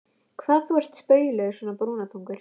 Hann er ekkert nema skvap eftir fæðinguna.